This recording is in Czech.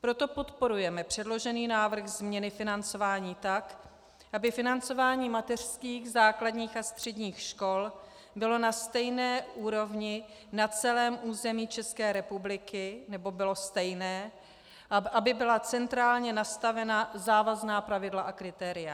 Proto podporujeme předložený návrh změny financování tak, aby financování mateřských, základních a středních škol bylo na stejné úrovni na celém území České republiky, nebo bylo stejné, aby byla centrálně nastavena závazná pravidla a kritéria.